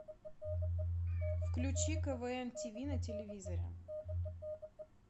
включи квн тиви на телевизоре